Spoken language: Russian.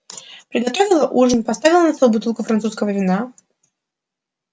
приготовила ужин поставила на стол бутылку французского вина